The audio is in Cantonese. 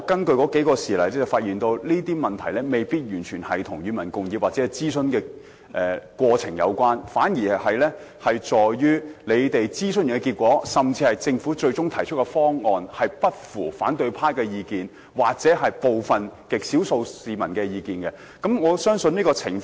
不過，我發現有些事例未必完全與"與民共議"或諮詢過程有關，而是諮詢結果或政府最終提出的方案不符合反對派的意見或極少數市民的意見，他們因而提出反對。